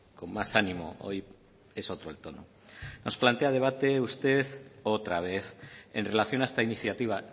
con más ánimo hoy es otro el tono nos plantea debate usted otra vez en relación a esta iniciativa